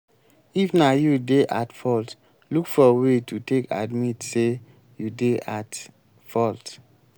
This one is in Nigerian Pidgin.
if na you dey at fault look for way to take admit sey you dey at fault